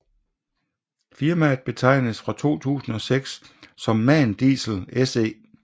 Firmaet betegnedes fra 2006 som MAN Diesel SE